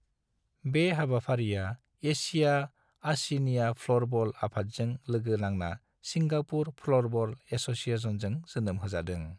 बे हाबफारिया एशिया अशिनिया फ्लरबल आफादजों लोगो नांना सिंगापुर फ्लरबल एस'सिएशनजों जोनोम होजादों।